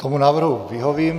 Tomu návrhu vyhovím.